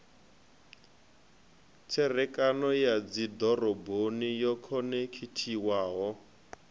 tserekano ya dzidoroboni yo khonekhithiwaho